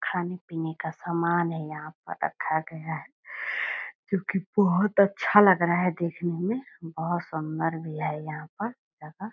खाने-पीने का सामान है यहाँ पर रखा गया है जो कि बहुत अच्छा लग रहा है देखने में। बहुत सुंदर भी है यहाँ पर जगह।